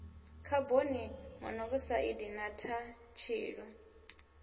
khaboni monokosaidi na thaa tshilu